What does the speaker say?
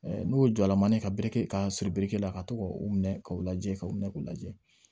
N'o ye jɔlan ye ka biriki ka siri biriki la ka to ka u minɛ k'u lajɛ k'u minɛ k'u lajɛ